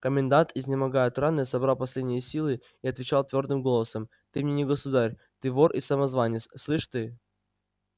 комендант изнемогая от раны собрал последние силы и отвечал твёрдым голосом ты мне не государь ты вор и самозванец слышь ты